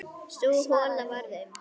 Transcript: Sú hola varð um